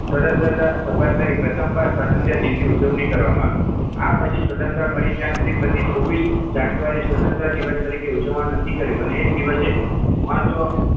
સ્વતંત્રતા સપાટ લઈ પ્રથમવાર સ્વતંત્ર દિવસ ઉજવણી કરવામાં આવી આ પછી સ્વતંત્ર મળી ત્યાં સુધી પ્રતિ છવ્વીસ જાન્યુઆરી સ્વતંત્ર દિવસ તરીકે ઉજવણ નક્કી કર્યું અને એ જ દિવસે મહત્વ